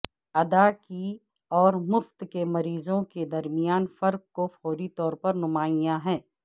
ادا کی اور مفت کے مریضوں کے درمیان فرق کو فوری طور پر نمایاں ہے